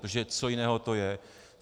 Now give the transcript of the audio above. Protože co jiného to je?